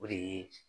O de ye